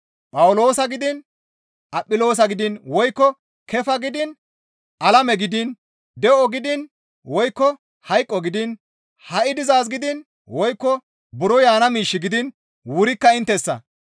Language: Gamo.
Phawuloosa gidiin, Aphiloosa gidiin, woykko Keefa gidiin, alame gidiin, de7o gidiin, woykko hayqo gidiin, ha7i dizaaz gidiin, woykko buro yaana miish gidiin, wurikka inttessa.